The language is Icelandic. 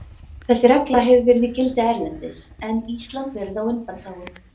Þessi regla hefur verið í gildi erlendis en Ísland verið á undanþágu.